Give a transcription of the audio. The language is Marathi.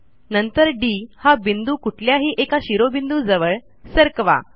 नंतर डी हा बिंदू कुठल्याही एका शिरोबिंदूजवळ सरकवा